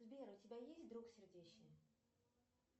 сбер у тебя есть друг сердечный